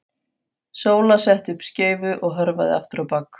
Sóla setti upp skeifu og hörfaði aftur á bak.